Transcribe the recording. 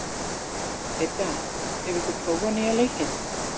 Idda, hefur þú prófað nýja leikinn?